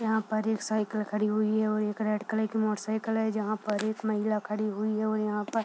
यहाँ पर एक साइकिल खड़ी हुई है और एक रेड कलर की मोटर साइकिल है जहाँ पर एक महिला खड़ी हुई है और यहाँ पर --